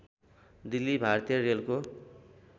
दिल्ली भारतीय रेलको